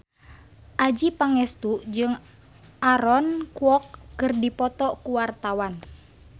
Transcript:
Adjie Pangestu jeung Aaron Kwok keur dipoto ku wartawan